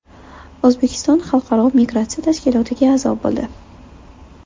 O‘zbekiston Xalqaro migratsiya tashkilotiga a’zo bo‘ldi.